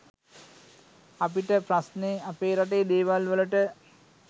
අපිට ප්‍රස්නේ අපේ රටේ දේවල් වලට